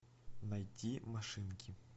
найти машинки